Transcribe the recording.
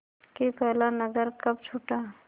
कि पहला नगर कब छूटा